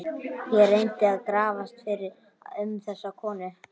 Ég reyndi að grafast fyrir um þessa konu.